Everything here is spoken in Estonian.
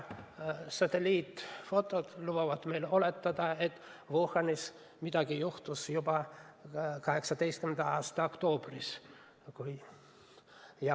Satelliidifotod lubavad meil oletada, et Wuhanis juhtus midagi juba 2018. aasta oktoobris.